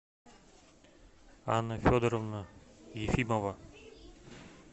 анна федоровна ефимова